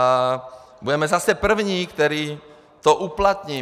A budeme zase první, kdo to uplatní.